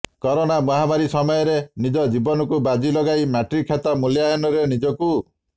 corona ମହାମାରୀ ସମୟରେ ନିଜ ଜୀବନକୁ ବାଜି ଲଗାଇ ମ୍ୟାଟ୍ରିକ ଖାତା ମୂଲ୍ୟାୟନରେ ନିଜକୁ